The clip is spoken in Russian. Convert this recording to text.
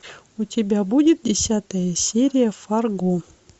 у тебя будет десятая серия фарго